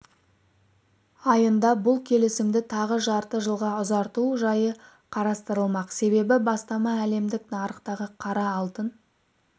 айында бұл келісімді тағы жарты жылға ұзарту жайы қарастырылмақ себебі бастама әлемдік нарықтағы қара алтын